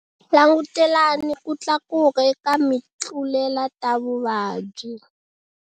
Langutelani ku tlakuka eka mitluletavuvabyi.